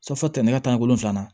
fɔ ka tɛmɛ nɛgɛ kanɲɛ wolonwula